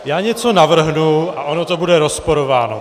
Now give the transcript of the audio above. Já něco navrhnu, a ono to bude rozporováno.